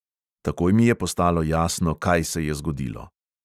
Takoj mi je postalo jasno, kaj se je zgodilo.